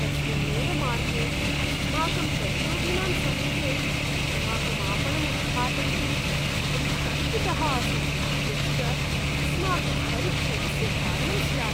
तस्मिन्नेव मार्गे अस्माकं प्रतियोगिनां समीपे अस्माकम् आपणम् उद्घाटयितुम् अहं शङ्कितः आसं, यच्च अस्माकं परिक्षयस्य कारणं स्यात्।